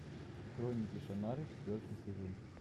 хроники шаннары четвертый сезон